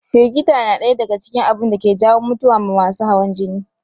Firgita na ɗaya daga cikin abunda ke jawo mutuwa ma masu hawan jini